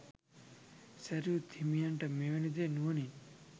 සැරියුත් හිමියන්ට මෙවැනි දේ නුවණින්